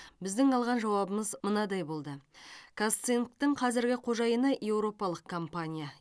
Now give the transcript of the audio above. біздің алған жауабымыз мынадай болды казцинктің қазіргі қожайыны еуропалық компания